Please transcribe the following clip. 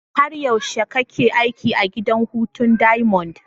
Har yaushe kake aiki a gidan hutu diamond?